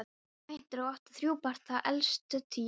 Kvæntur og átti þrjú börn, það elsta tíu ára.